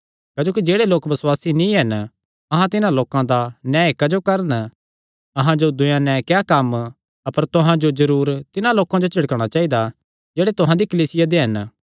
क्जोकि जेह्ड़े लोक बसुआसी नीं हन अहां तिन्हां लोकां दा न्याय क्जो करन अहां जो दूयेयां नैं क्या कम्म अपर तुहां जो जरूर तिन्हां लोकां जो झिड़कणा चाइदा जेह्ड़े तुहां दी कलीसिया दे हन